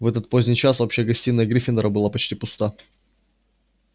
в этот поздний час общая гостиная гриффиндора была почти пуста